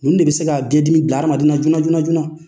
Ninnu de bɛ se ka biɲɛdimi bila hadamadena joona joona joona.